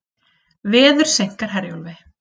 Veður seinkar Herjólfi